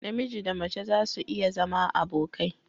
Namiji Da mace zasu iya zama abokai.